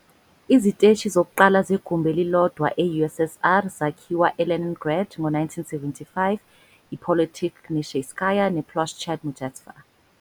Iziteshi zokuqala zegumbi elilodwa e- USSR zakhiwa eLeningrad ngo-1975- iPolitekhnicheskaya nePloshchad Muzhestva.